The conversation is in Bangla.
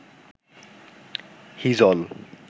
হিজল